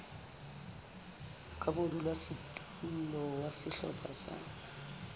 ka modulasetulo wa sehlopha sa